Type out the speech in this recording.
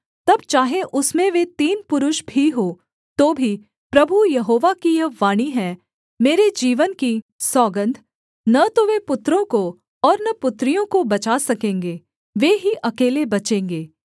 तब चाहे उसमें वे तीन पुरुष भी हों तो भी प्रभु यहोवा की यह वाणी है मेरे जीवन की सौगन्ध न तो वे पुत्रों को और न पुत्रियों को बचा सकेंगे वे ही अकेले बचेंगे